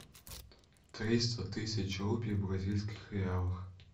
триста тысяч рупий в бразильских реалах